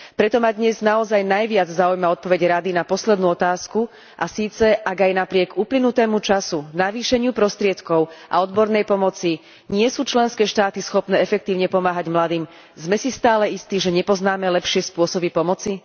Preto ma dnes naozaj najviac zaujíma odpoveď Rady na poslednú otázku, a síce ak aj napriek uplynutému času, navýšeniu prostriedkov a odbornej pomoci nie sú členské štáty schopné efektívne pomáhať mladým, sme si stále istí, že nepoznáme lepšie spôsoby pomoci?